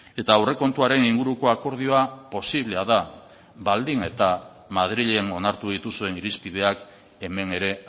eta aurrekontuaren inguruko akordioa posiblea da baldin eta madrilen onartu dituzuen irizpideak hemen ere